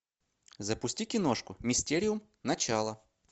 запусти киношку мистериум начало